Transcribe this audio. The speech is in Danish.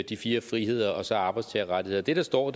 de fire friheder og så arbejdstagerrettigheder det der står